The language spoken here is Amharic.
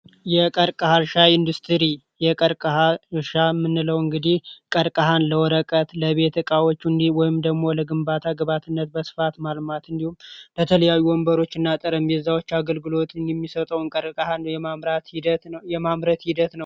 የቀርቀሃ እርሻ ኢንዱስትሪ የቀርቀሃ እርሻ የምንለው እንግዲህ ቀርቀሃን ለወረቀት ለቤት እቃዎች ወይም ደግሞ ለግንባታ ግብዓትነት በስፋት ማልማት እንዲሁም ለተለያዩ ጠረጴዛዎችና ወንበሮች አገልግሎት የሚሰጠውን ቀርቀሃ የማምረት ሂደት ነው።